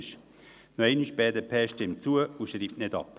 Nochmals: Die BDP stimmt zu und schreibt nicht ab.